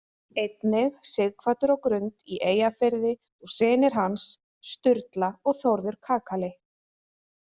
Einnig Sighvatur á Grund í Eyjafirði og synir hans, Sturla og Þórður kakali.